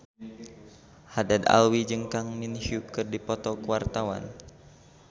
Haddad Alwi jeung Kang Min Hyuk keur dipoto ku wartawan